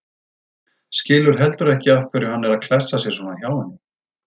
Skilur heldur ekki af hverju hann er að klessa sér svona hjá henni.